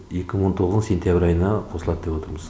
екі мың он тоғыздың сентябрь айына қосылады деп отырмыз